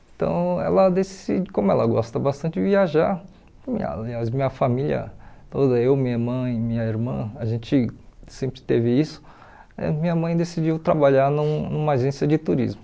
Então, ela deci como ela gosta bastante de viajar, aliás, minha família toda, eu, minha mãe, minha irmã, a gente sempre teve isso, eh minha mãe decidiu trabalhar num numa agência de turismo.